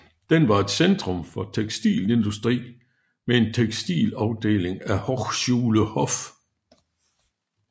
Den er et centrum for tekstilindustri med en tekstilafdeling af Hochschule Hof